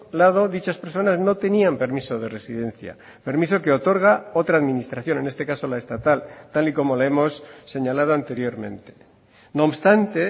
lado dichas personas no tenían permiso de residencia permiso que otorga otra administración en este caso la estatal tal y como le hemos señalado anteriormente no obstante